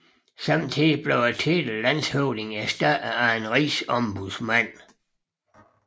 Samtidig blev titlen landshøvding erstattet af en rigsombudsmand